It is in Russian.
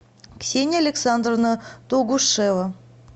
ксения александровна тугушева